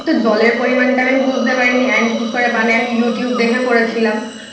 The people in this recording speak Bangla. জলের পরিমানটা আমি বুঝতে পারিনি and কি করে বানায় আমি YouTube দেখে করেছিলাম।